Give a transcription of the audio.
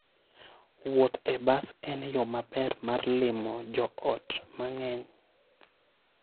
Wuoth e bas en yo maber mar limo joot mang'eny.